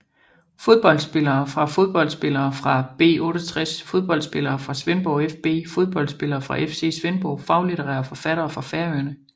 Fodboldspillere fra ÍA Fodboldspillere fra B68 Fodboldspillere fra Svendborg fB Fodboldspillere fra FC Svendborg Faglitterære forfattere fra Færøerne